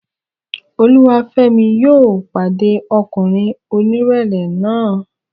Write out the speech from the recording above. Olúwafẹ́mi yóò pàdé ọmọkùnrin onírẹ̀lẹ̀ náà